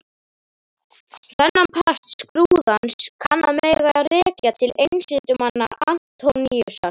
Þennan part skrúðans kann að mega rekja til einsetumanna Antóníusar.